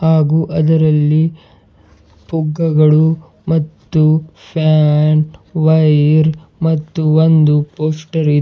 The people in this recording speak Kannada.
ಹಾಗೂ ಅದರಲ್ಲಿ ಪುಗ್ಗಗಳು ಮತ್ತು ಫ್ಯಾನ್ ವೈರ್ ಮತ್ತು ಒಂದು ಪೋಸ್ಟರ್ ಇ --